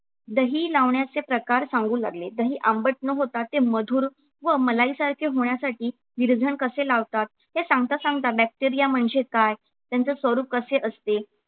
दही लावण्याचे प्रकार सांगू लागले. दही आंबट न होता ते मधुर व मलाई सारखे होण्यासाठी विरजण कसे लावतात हे सांगता सांगता bacteria म्हणजे काय त्यांचे स्वरूप कसे असते